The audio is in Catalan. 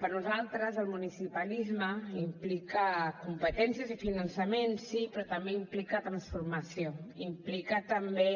per nosaltres el municipalisme implica competències i finançament sí però també implica transformació implica també